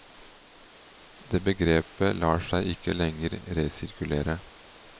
Det begrepet lar seg ikke lenger resirkulere.